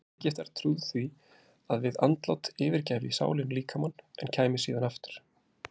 Egyptar trúðu því að við andlát yfirgæfi sálin líkamann en kæmi síðan aftur.